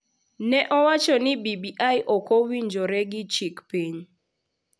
ne owacho ni BBI ok owinjore gi chik piny,